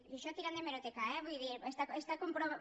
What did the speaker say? i això tirant d’hemeroteca eh vull dir està comprovat